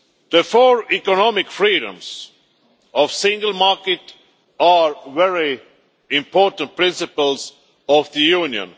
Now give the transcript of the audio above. The four economic freedoms of the single market are very important principles of the Union.